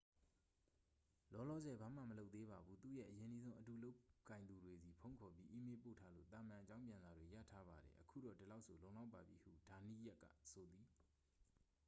"""လောလောဆယ် ဘာမှမလုပ်သေးပါဘူး။ သူ့ရဲ့ အရင်းနှီးဆုံး အတူလုပ်ကိုင်သူတွေဆီ ဖုန်းခေါ်ပြီး အီးမေးလ်ပို့ထားလို့ သာမန်အကြောင်းပြန်စာတွေ ရထားပါတယ်။ အခုတော့ ဒီလောက်ဆို လုံလောက်ပါပြီ။" ဟု ဒါနီးယပ်စ်ကဆိုသည်။